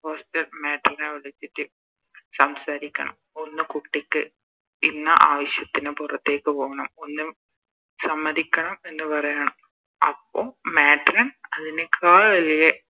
hostel Matron നെ വിളിച്ചിറ്റ് സംസാരിക്കണം ഒന്ന് കുട്ടിക്ക് ഇന്ന ആവശ്യത്തിന് പൊറത്തേക്ക് പോണം ഒന്ന് സമ്മതിക്കണം എന്ന് പറയണം അപ്പൊ Matron അതിനേക്കാൾ വലിയ